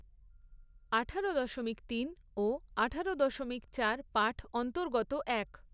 আঠারো দশমিক তিন ও আঠারো দশমিক চার পাঠ অন্তৰ্গত এক।